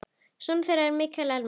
Sonur þeirra er Mikael Elmar.